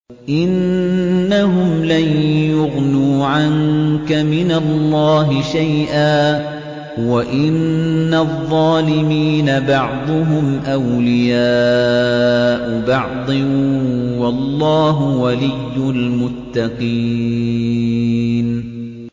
إِنَّهُمْ لَن يُغْنُوا عَنكَ مِنَ اللَّهِ شَيْئًا ۚ وَإِنَّ الظَّالِمِينَ بَعْضُهُمْ أَوْلِيَاءُ بَعْضٍ ۖ وَاللَّهُ وَلِيُّ الْمُتَّقِينَ